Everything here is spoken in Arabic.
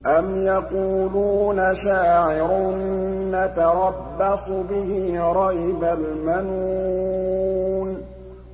أَمْ يَقُولُونَ شَاعِرٌ نَّتَرَبَّصُ بِهِ رَيْبَ الْمَنُونِ